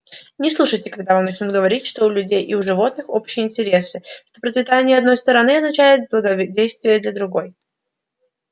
не слушайте когда вам начнут говорить что у людей и у животных общие интересы что процветание одной стороны означает благоденствие и для другой